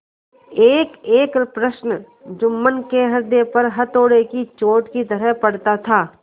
एकएक प्रश्न जुम्मन के हृदय पर हथौड़े की चोट की तरह पड़ता था